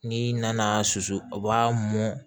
N'i nana susu o b'a mɔn